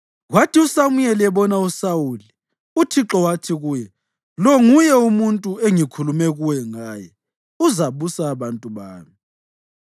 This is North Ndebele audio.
Kwathi uSamuyeli ebona uSawuli, uThixo wathi kuye, “Lo nguye umuntu engikhulume kuwe ngaye; uzabusa abantu bami.”